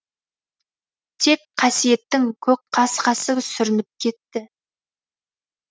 тек қасиеттің көкқасқасы сүрініп кетті